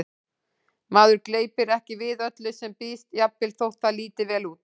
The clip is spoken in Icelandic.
Maður gleypir ekki við öllu sem býðst, jafnvel þótt það líti vel út